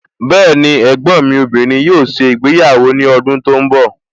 Bẹẹni, ẹ̀gbọ́n mi obìnrin yóò ṣe ìgbéyàwó ní ọdún tí ó ń bọ̀